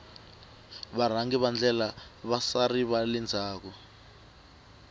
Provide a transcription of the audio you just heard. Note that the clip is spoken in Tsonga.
varhangi va ndlela i vasari vale ndzhaku